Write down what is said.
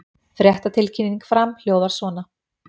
Fréttatilkynning Fram hljóðar svona